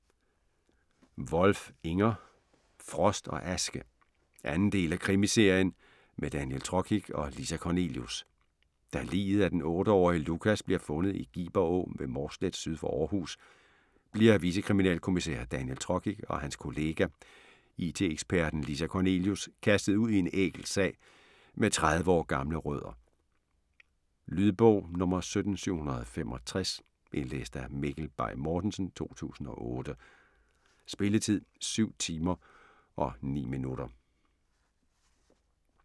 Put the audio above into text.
Wolf, Inger: Frost og aske 2. del af krimiserien med Daniel Trokic og Lisa Kornelius. Da liget af den 8-årige Lukas bliver fundet i Giber Å ved Mårslet syd for Århus, bliver vicekriminalkommissær Daniel Trokic og hans kollega, IT-eksperten Lisa Kornelius, kastet ud i en ækel sag med 30 år gamle rødder. Lydbog 17765 Indlæst af Mikkel Bay Mortensen, 2008. Spilletid: 7 timer, 9 minutter.